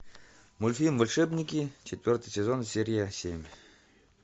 мультфильм волшебники четвертый сезон серия семь